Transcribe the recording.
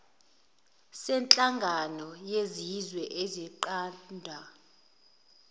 senhlangano yezizwe esinqanda